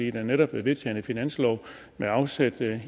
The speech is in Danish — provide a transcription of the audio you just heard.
er jo netop vedtaget en finanslov med afsæt